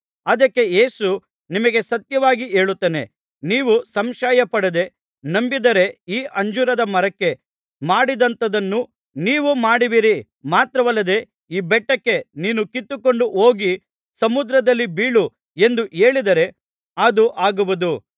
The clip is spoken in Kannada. ಅದಕ್ಕೆ ಯೇಸು ನಿಮಗೆ ಸತ್ಯವಾಗಿ ಹೇಳುತ್ತೇನೆ ನೀವು ಸಂಶಯಪಡದೆ ನಂಬಿದರೆ ಈ ಅಂಜೂರದ ಮರಕ್ಕೆ ಮಾಡಿದಂಥದನ್ನು ನೀವು ಮಾಡುವಿರಿ ಮಾತ್ರವಲ್ಲದೆ ಈ ಬೆಟ್ಟಕ್ಕೆ ನೀನು ಕಿತ್ತುಕೊಂಡು ಹೋಗಿ ಸಮುದ್ರದಲ್ಲಿ ಬೀಳು ಎಂದು ಹೇಳಿದರೆ ಅದೂ ಆಗುವುದು